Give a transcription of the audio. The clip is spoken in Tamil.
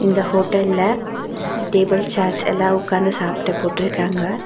இந்த ஹோட்டல்ல டேபிள் சேர்ஸ் எல்லா உட்காந்து சாப்ட போட்ருக்காங்க.